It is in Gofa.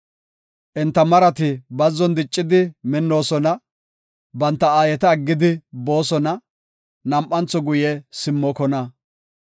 Enta marati bazzon diccidi minnoosona; banta aayeta aggidi boosona; nam7antho guye simmokona.